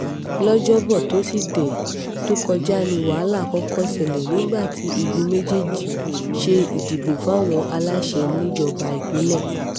lọ́jọ́bọ́ tọ́sídẹ̀ẹ́ tó kọjá ní wàhálà kọ́kọ́ ṣẹlẹ̀ nígbà tí igun méjèèjì ṣe ìdìbò fáwọn aláṣẹ níjọba ìbílẹ̀